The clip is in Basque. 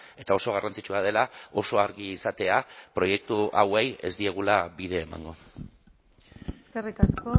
eta oso garrantzitsua dela oso argi izatea proiektu hauei ez diegula bide emango eskerrik asko